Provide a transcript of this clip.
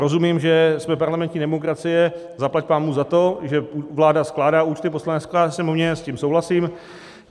Rozumím, že jsme parlamentní demokracie, zaplať pánbůh za to, že vláda skládá účty, poslanec skládá Sněmovně, s tím souhlasím.